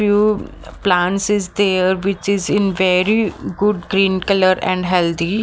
Few plants is there which is in very good green colour and healthy.